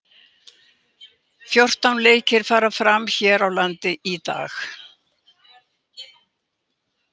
Fjórtán leikir fara fram hér á landi í dag.